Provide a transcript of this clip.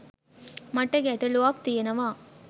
මට ගැටළුවක් තියෙනවා.